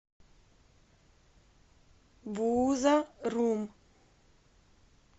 бууза рум